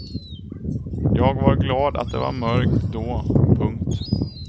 Jag var glad att det var mörkt då. punkt